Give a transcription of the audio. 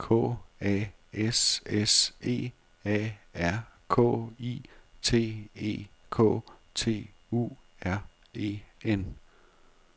K A S S E A R K I T E K T U R E N